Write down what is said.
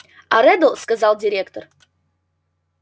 а реддл сказал директор